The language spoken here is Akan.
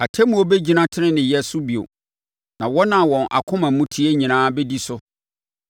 Atemmuo bɛgyina teneneeyɛ so bio, na wɔn a wɔn akoma mu teɛ nyinaa bɛdi so.